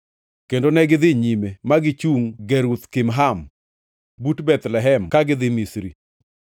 Kendo negidhi nyime, ma gichungʼ Geruth Kimham but Bethlehem ka gidhi Misri,